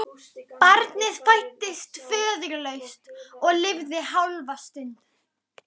Barnið fæddist föðurlaust og lifði hálfa stund.